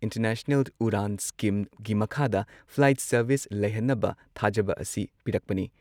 International Udan ꯁ꯭ꯀꯤꯝꯒꯤ ꯃꯈꯥꯗ flight service ꯂꯩꯍꯟꯅꯕ ꯊꯥꯖꯕ ꯑꯁꯤ ꯄꯤꯔꯛꯄꯅꯤ ꯫